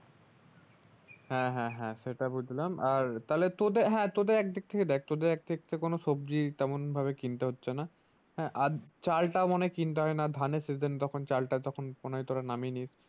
হ্যাঁ হ্যাঁ হ্যাঁ সেটা বুজলাম আর তাহলে তোদের হ্যাঁ তোদের একদিক থেকে দেখ কোনো সবজি তেমন ভাবে কিনতে হচ্ছে না হ্যাঁ আর চাল টা কিনতে হয় না ধানের season তখন চালতা তখন মনেহয় নামিয়ে নিস্ ।